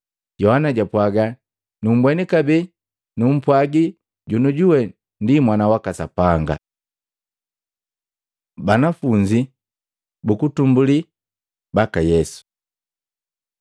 Yohana japwagaa, “Numbweni, kabee numpwaji jonujuwe ndi Mwana waka Sapanga.” Banafunzi bakwanza baka Yesu